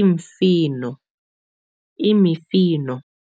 imfino, imifino.